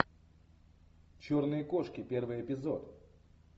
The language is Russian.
черные кошки первый эпизод